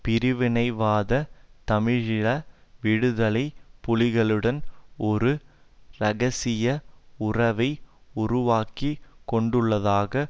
பிரிவினைவாத தமிழீழ விடுதலை புலிகளுடன் ஒரு இரகசிய உறவை உருவாக்கி கொண்டுள்ளதாக